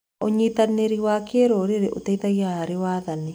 ũnyitanĩri wa kĩrũrĩrĩ ũteithagia harĩ wathani.